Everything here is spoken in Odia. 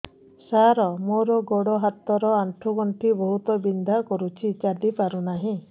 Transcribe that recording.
ସାର ମୋର ଗୋଡ ହାତ ର ଆଣ୍ଠୁ ଗଣ୍ଠି ବହୁତ ବିନ୍ଧା କରୁଛି ଚାଲି ପାରୁନାହିଁ